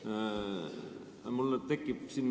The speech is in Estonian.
Mul tekib nüüd selle peale küsimus.